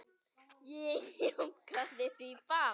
Ég jánkaði því bara.